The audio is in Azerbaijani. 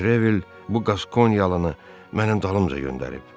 Detrevel bu qaskonyalını mənim dalımca göndərib.